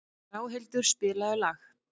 Ráðhildur, spilaðu lag.